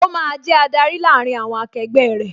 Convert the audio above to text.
Ó máa jẹ adarí láàárín àwọn akegbẹ́ rẹ